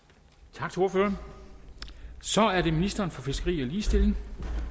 tak til ordføreren så er det ministeren for fiskeri og ligestilling